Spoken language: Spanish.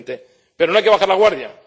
2020. Pero no hay que bajar la guardia.